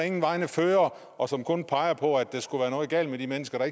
ingen vegne fører og som kun peger på at der skulle være noget galt med de mennesker